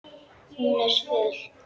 Hún var svöl.